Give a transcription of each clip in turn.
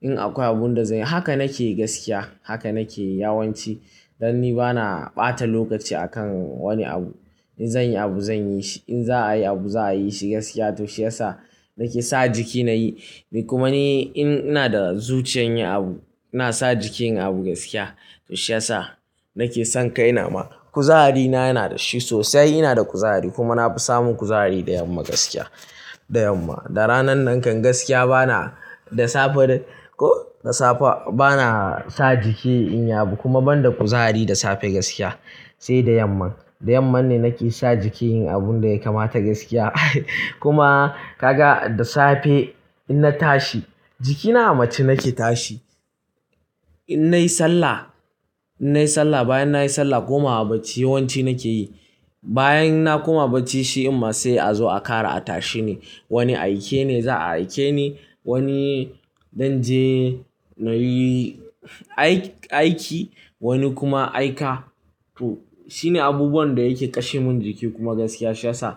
in akwai abun da zan yi. Haka nake gaskiya. Haka nake yawanci. Dan ni bana ɓata lokaci a kan wani abu. In zan yi abu zan yi shi. In za'a yi abu za'a yi shi gaskiya to shiyasa nake sa jiki nayi. Kuma ni in ina da zuciyar yin abu, ina sa jiki yin abu gaskiya to shiyasa nake son kai na ma. Kuzarina yana da shi sosai. Ina da kuzari kuma na fi samun kuzari da yamma gaskiya, da yamma. Da ranan nan kan gaskiya bana da safe ko da safe bana sa jiki in yi abu kuma ban da kuzari da safe gaskiya. Sai da yamma, da yamma ne nake sa jiki yin abun da ya kamata gaskiya. Kuma ka ga da safe in na tashi jikina mace nake tashi. In nayi sallah, in nayi sallah bayan nayi sallah kuma haba ci yawanci nake yi. Bayan na koma haba ci shi amma sai a zo a ƙara a tashi ne. Wani aike ne za'a aike ni. Wani dan je na yi aiki, wani kuma aika. To shine abubuwan da yake kashe mun jiki kuma gaskiya shiyasa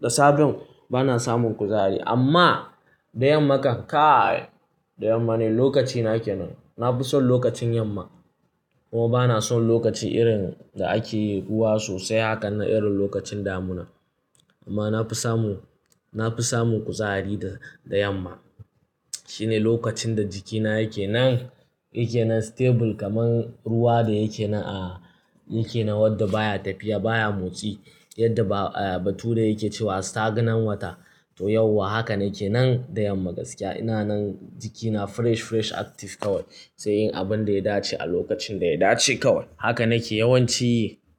da safe bana samun kuzari. Amma da yammakan kai da yamma ne lokaci nake nan. Na fi son lokacin yamma. Kuma bana son lokacin irin da ake yi ruwa sosai hakan na irin lokacin damuna. Amma na fi samu, na fi samun kuzari da, da yamma. Shine lokacin da jikina yake nan, yake nan stable kamar ruwa da yake na, yake na wadda baya tafiya baya motsi. Yadda ba, ba tura yake cewa staganan wata. To yauwa hakan nake nan da yamma gaskiya. Ina nan jikina fresh, fresh active kawai. Sai yin abun da ya dace a lokacin da ya dace kawai. Haka nake yawanci yi.